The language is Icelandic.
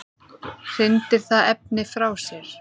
hrindir það efni frá sér